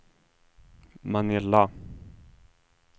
Manila